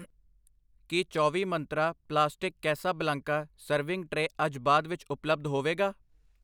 ਕੀ ਚੌਵੀ ਮੰਤਰਾਂ plastic Casablanca serving tray ਅੱਜ ਬਾਅਦ ਵਿੱਚ ਉਪਲੱਬਧ ਹੋਵੇਗਾ?